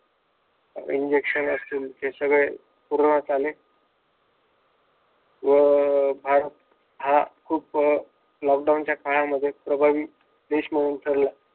Injection असतील ते सगळे पुरवण्यात आली व भारत हा खूप लॉकडाउन च्या काळामध्ये प्रभावी देश म्हणून ठरला.